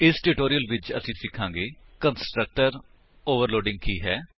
ਇਸ ਟਿਊਟੋਰਿਅਲ ਵਿੱਚ ਅਸੀ ਸਿਖਾਂਗੇ ਕੰਸਟਰਕਟਰ ਓਵਰਲੋਡਿੰਗ ਕੀ ਹੈ